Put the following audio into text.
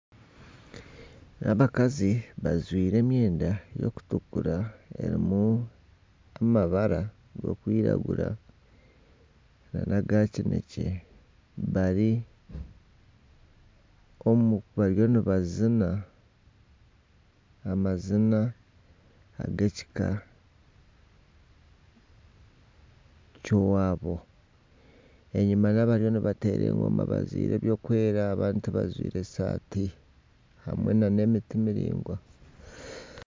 Abakazi bajwaire emyenda erikutukura erimu amabara g'okwiragura nanaga kinekye bariyo nibazina amazina g'ekika ky'owaabo enyuma hariyo abariyo nibateera engoma bajwaire ebirikwera abandi tibajwaire saati hamwe n'emiti miraingwa.